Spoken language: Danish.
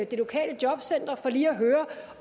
det lokale jobcenter for lige at høre